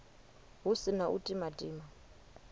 hu si na u timatima